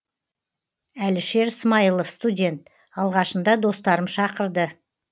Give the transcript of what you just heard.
әлішер смайылов студент алғашында достарым шақырды